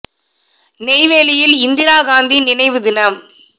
நெய்வேலியில் இந்திரா காந்தி நினைவு தினம்